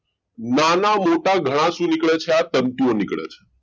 નાના મોટા ઘણા શું નીકળે છે તંતુઓ નીકળે છે